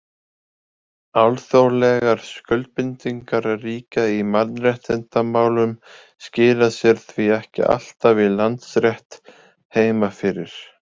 Alþjóðlegar skuldbindingar ríkja í mannréttindamálum skila sér því ekki alltaf í landsrétt heima fyrir.